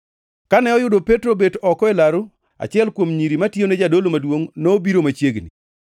Kane oyudo Petro obet oko e laru, achiel kuom nyiri matiyone jadolo maduongʼ nobiro machiegni.